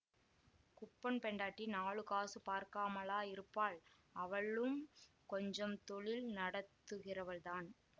குப்பன் பெண்டாட்டி நாலு காசு பார்க்காமலா இருப்பாள் அவளும் கொஞ்சம் தொழில் நடத்துகிறவள்தான்